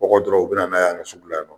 Kɔgɔ dɔrɔn u bi na n'a ye an ka sugula yan nɔ.